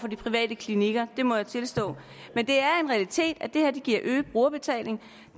de private klinikker det må jeg tilstå men det er en realitet at det her giver øget brugerbetaling